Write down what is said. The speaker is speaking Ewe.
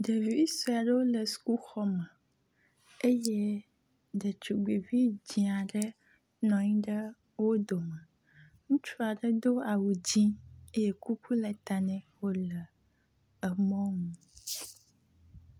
Ɖevi sue aɖewo le sukuxɔ me eye ɖetugbi vi di aɖe nɔ anyi ɖe wo dome. Ŋutsu aɖe do awu dzi eye kuku le ta nɛ wo le emɔnu.